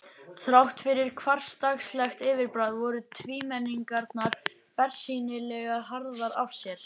Þrátt fyrir hversdagslegt yfirbragð voru tvímenningarnir bersýnilega harðir af sér.